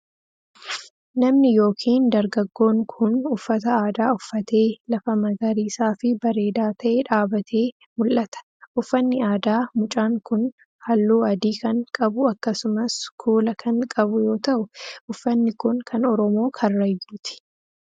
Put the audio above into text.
Namni yokin dargaggoon kun, uffata aadaa uffatee lafa magariisa fi bareedaa ta'e dhaabbatee mul'ata. Uffanni aadaa mucaan kun, haalluu adii kan qabu akkasumas kuula kan qabu yoo ta'u, uffanni kun kan Oromoo Karrayyuuti.